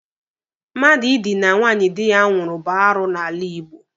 Mmadụ ịdịna nwaanyị dị ya nwụrụ bụ arụ n'ala Igbo.